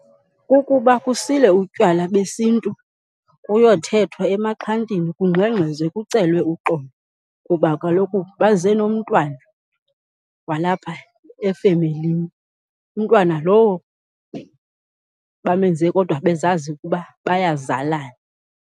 Kukuba kusile utywala besiNtu kuyothethwa emaxhantini kungxengxezwe kucelwe uxolo, kuba kaloku baze nomntwana walapha efemelini, umntwana lowo bamenze kodwa bezazi ukuba bayazalana.